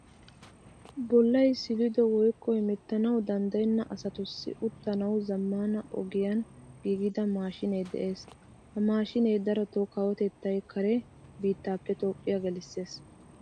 Bollay silido woykko hemettanawu danddayena asatussi uttanawu zamaana ogiyan giigida mashshine de'ees. Ha maashshinee daroto kawotettay kare biittappe toophphiyaa gelisees.